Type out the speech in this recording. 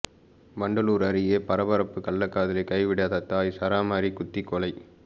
வண்டலூர் அருகே பரபரப்பு கள்ளக்காதலை கைவிடாத தாய் சரமாரி குத்தி கொலை